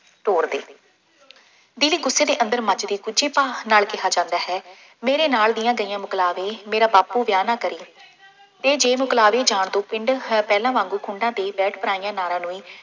ਤੋਰ ਦੇ। ਦਿਲੀ ਗੁੱਸੇ ਦੇ ਅੰਦਰ ਮੱਚਦੇ ਗੁੱਝੇ ਭਾਵ ਨਾਲ ਕਿਹਾ ਜਾਂਦਾ ਹੈ। ਮੇਰੇ ਨਾਲ ਦੀਆਂ ਗਈਆਂ ਮੁਕਲਾਵੇ, ਮੇਰਾ ਬਾਪੂ ਵਿਆਹ ਨਾ ਕਰੇ, ਇਹ ਜੇ ਮੁਕਲਾਵੇ ਜਾਣ ਤੋਂ ਪਿੰਡ ਹੈ ਪਹਿਲਾਂ ਵਾਂਗੂੰ ਖੂੰਡਾਂ ਤੇ ਬੈਠ ਪਰਾਈਆਂ ਨਾਰਾਂ ਨੂੰ ਇਹ